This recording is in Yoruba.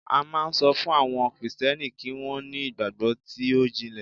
a ma n so fun àwọn Kristẹni kì wan ni igbagbo ti o jinle